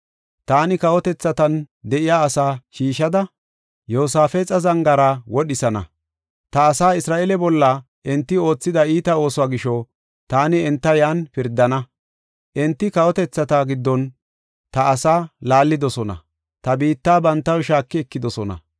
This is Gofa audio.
Taani kawotethatan de7iya asaa shiishada, Yoosafexa zangaara wodhisana. Ta asaa Isra7eele bolla enti oothida iita oosuwa gisho, taani enta yan pirdana. Enti kawotethata giddon ta asaa laallidosona; ta biitta bantaw shaaki ekidosona.